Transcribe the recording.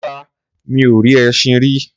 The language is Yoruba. Rárá, mi ò rí ẹṣin rí.